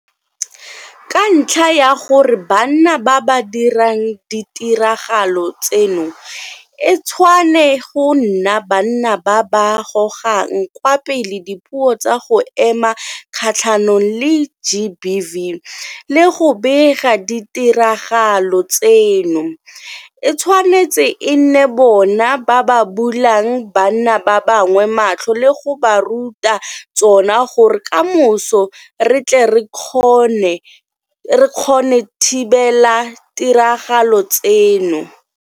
Ka ntlha ya gore ke banna ba ba dirang ditiragalo tseno, e tshwane go nna banna ba ba gogang kwa pele dipuo tsa go ema kgatlhanong le GBV le go bega ditiragalo tseno, e tshwanetse e nne bona ba ba bulang banna ba bangwe matlho le go ba ruta ka tsona gore kamoso re tle re kgona thibela ditiragalo tseno.